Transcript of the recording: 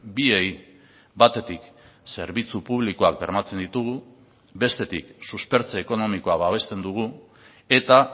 biei batetik zerbitzu publikoak bermatzen ditugu bestetik suspertze ekonomikoa babesten dugu eta